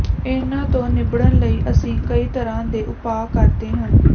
ਇਨ੍ਹਾਂ ਤੋਂ ਨਿੱਬੜਨ ਲਈ ਅਸੀਂ ਕਈ ਤਰ੍ਹਾਂ ਦੇ ਉਪਾਅ ਕਰਦੇ ਹਨ